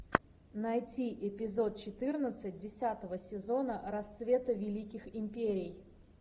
найти эпизод четырнадцать десятого сезона расцвета великих империй